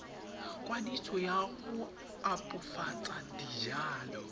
kwadiso ya go opafatsa dijalo